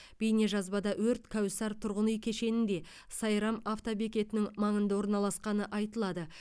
бейнежазбада өрт кәусар тұрғын үй кешенінде сайрам автобекетінің маңында орналасқаны айтылады